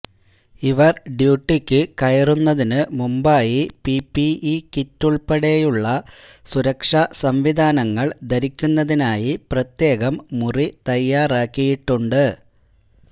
ഇവര് ഡ്യൂട്ടിക്ക് കയറുന്നതിന് മുമ്പായി പിപിഇ കിറ്റുള്പ്പെടെയുള്ള സുരക്ഷാസംവിധാനങ്ങള് ധരിക്കുന്നതിനായി പ്രത്യേകം മുറി തയ്യാറാക്കിയിട്ടുണ്ട്